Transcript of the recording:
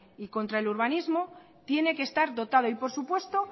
y contra el urbanismo tiene que estar dotado y por supuesto